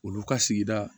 Olu ka sigida